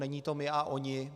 Není to my a oni.